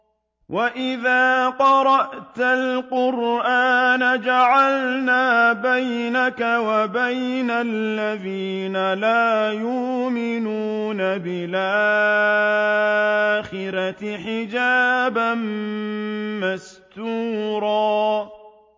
وَإِذَا قَرَأْتَ الْقُرْآنَ جَعَلْنَا بَيْنَكَ وَبَيْنَ الَّذِينَ لَا يُؤْمِنُونَ بِالْآخِرَةِ حِجَابًا مَّسْتُورًا